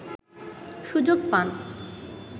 সুযোগ পান